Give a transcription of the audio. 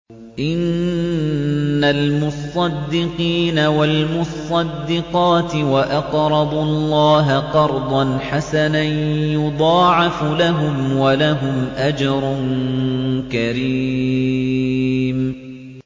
إِنَّ الْمُصَّدِّقِينَ وَالْمُصَّدِّقَاتِ وَأَقْرَضُوا اللَّهَ قَرْضًا حَسَنًا يُضَاعَفُ لَهُمْ وَلَهُمْ أَجْرٌ كَرِيمٌ